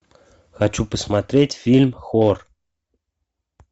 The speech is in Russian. хочу посмотреть фильм хор